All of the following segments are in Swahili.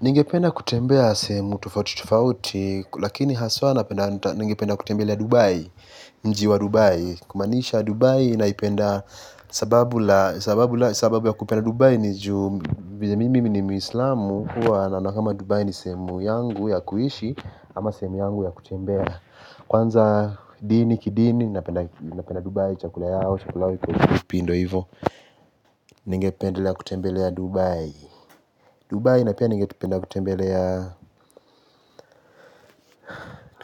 Ningependa kutembea sehemu tufauti tufauti, lakini haswa napenda ningependa kutembelea Dubai, mji wa Dubai. Kumaanisha Dubai naipenda sababu ya kupenda Dubai ni juu vile mimi ni muislamu, huwa naona kama Dubai ni sehemu yangu ya kuishi ama sehemu yangu ya kutembea. Kwanza dini, kidini napenda Dubai, chakula yao, chakula yao, kukupi ndo ivo, ningependelea kutembelea Dubai. Dubai na pia nigependa kutembelea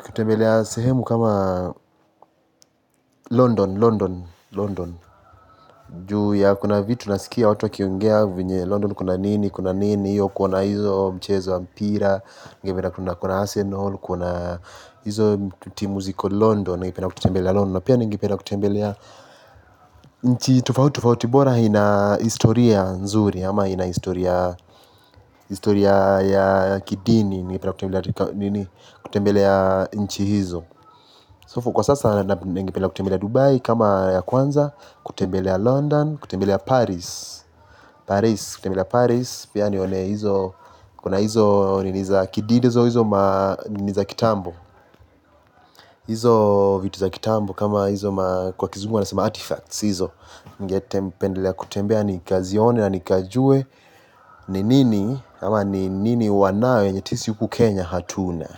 kutembelea sehemu kama London, London, London, juu ya kuna vitu nasikia watu wakiongea venye London kuna nini, kuna nini hiyo kuona hizo mchezo wa mpira, ningependa kuona Arsenal, kuona hizo timu ziko London, nigependa kutembelea London na pia nigependa kutembelea nchi tofauti tofauti bora ina historia nzuri ama ina historia ya kidini kutembelea nchi hizo. Sofu kwa sasa ningependa kutembelea Dubai kama ya kwanza, kutembelea London, kutembelea Paris. Paris, kutembelea Paris. Pia nione hizo kuna hizo nini za kidide hizo ma nini za kitambo. Hizo vitu za kitambo kama hizo ma kwa kizungu wanasema artifacts hizo. Ningependelea kutembea nikazione na nikajue ni nini ama ni nini wanayo yenye sisi huku Kenya hatuna.